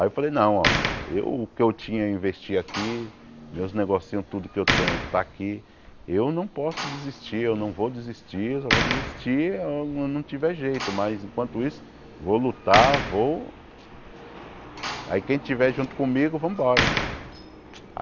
Aí eu falei, não, ó, eu o que eu tinha a investir aqui, meus negocinhos, tudo que eu tenho tá aqui, eu não posso desistir, eu não vou desistir, eu só vou desistir quando não tiver jeito, mas enquanto isso, vou lutar, vou... Aí quem tiver junto comigo, vamos embora!